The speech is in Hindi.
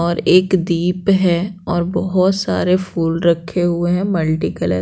और एक दीप है और बहुत सारे फूल रखे हुए हैं मलटीकलर--